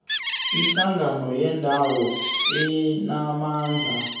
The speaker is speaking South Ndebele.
ihlangano yendawo enamandla